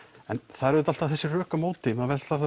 það eru alltaf þessi rök á móti maður veltir